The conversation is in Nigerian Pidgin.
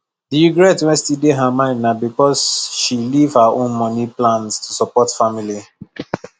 the regret wey still dey her mind na because she leave her own money plans to support family